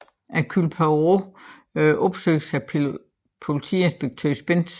Hercule Poirot opsøges af politiinspektør Spence